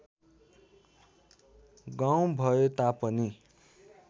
गाउँ भए तापनि